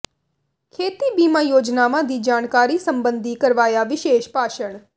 ਖੇਤੀ ਬੀਮਾ ਯੋਜਨਾਵਾਂ ਦੀ ਜਾਣਕਾਰੀ ਸਬੰਧੀ ਕਰਵਾਇਆ ਵਿਸ਼ੇਸ਼ ਭਾਸ਼ਣ